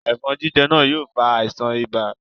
Ẹ̀fọ̀n jíjẹ náà yóò fa àisàn ibà